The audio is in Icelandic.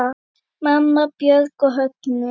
Mamma, Björk og Högni.